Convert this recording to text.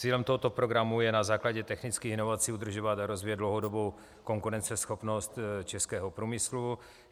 Cílem tohoto programu je na základě technických inovací udržovat a rozvíjet dlouhodobou konkurenceschopnost českého průmyslu.